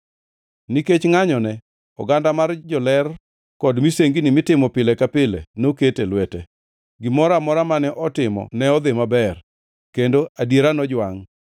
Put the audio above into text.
Nikech ngʼanyone, oganda mar joler kod misengni mitimo pile ka pile noket e lwete. Gimoro amora mane otimo ne odhi maber, kendo adiera nojwangʼ.